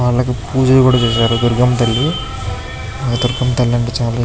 అలాగే పూజలు కూడా చేశారు దుర్గమ్మ తల్లి దుర్గమ్మ తల్లి --